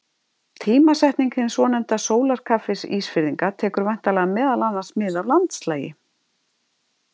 Tímasetning hins svonefnda sólarkaffis Ísfirðinga tekur væntanlega meðal annars mið af landslagi.